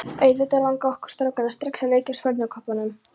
Auðvitað langaði okkur strákana strax að líkjast fornköppunum.